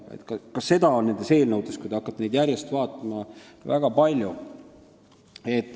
Kui te hakkate neid eelnõusid järjest vaatama, siis te näete, et ka seda on nendes väga palju.